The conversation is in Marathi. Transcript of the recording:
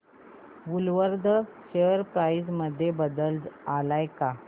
वूलवर्थ शेअर प्राइस मध्ये बदल आलाय का